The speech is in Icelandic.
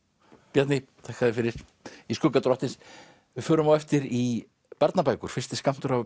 Bjarni þakka þér fyrir í skugga drottins við förum á eftir í barnabækur fyrsti skammtur af